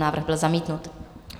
Návrh byl zamítnut.